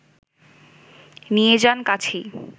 নিয়ে যান কাছেই